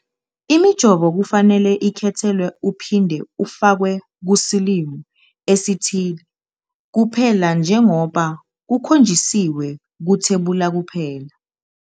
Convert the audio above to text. Imijovo kufanele ikhethelwe uphinde ufakwe kusilimo esithile kuphela njengoba kukhonjisiwe kuthebula kuphela.